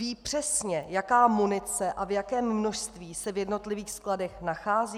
Ví přesně, jaká munice a v jakém množství se v jednotlivých skladech nachází?